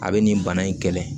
A bɛ nin bana in kɛlɛ